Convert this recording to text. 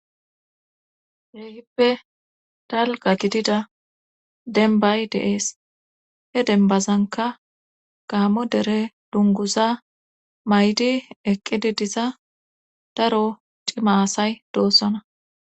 Heehippe dalga gitida denbay deees he denbazanka gaamo dere dunguza maydi eqqidi diza daro cimaasay doossona.